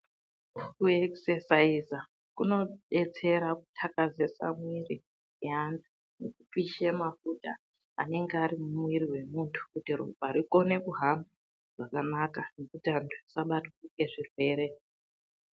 Kuekisaiza kunodetsera kuthakazesa mwiri yantu, kupishe mafuta anenge ari mumwiri wemuntu kuti ropa rikone kuhamba zvakanaka, nekuti asabatwa ngezvirwere.